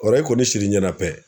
O i kɔni sir'i ɲɛnɛ pɛ.